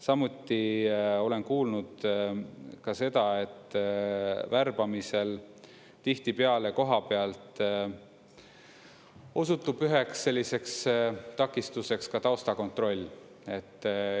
Samuti olen kuulnud ka seda, et värbamisel tihtipeale kohapealt osutub üheks selliseks takistuseks ka taustakontroll.